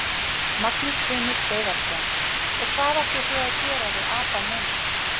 Magnús Hlynur Hreiðarsson: Og hvað ætlið þið að gera við apann núna?